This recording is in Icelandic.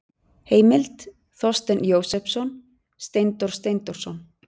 Heimild: Þorsteinn Jósepsson, Steindór Steindórsson.